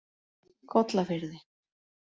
Kollafirði